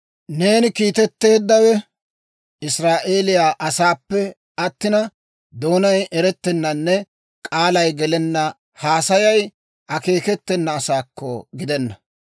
Neeni kiitetteeddawe Israa'eeliyaa asaassappe attina, doonay eretennanne k'aalay gelenna haasayay akeeketena asaakko gidenna.